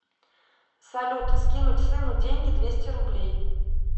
салют скинуть сыну деньги двести рублей